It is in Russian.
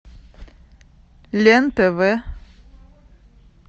лен тв